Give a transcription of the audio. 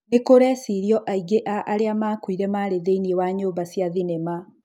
Nĩ kũrecirĩrio aingĩ a arĩa makuire marĩ thĩiniĩ wa nyũmba cia thĩnema.